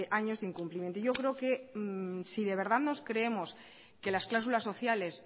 años de incumplimiento y yo creo que si de verdad nos creemos que las cláusulas sociales